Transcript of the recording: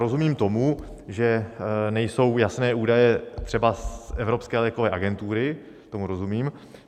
Rozumím tomu, že nejsou jasné údaje třeba z Evropské lékové agentury, tomu rozumím.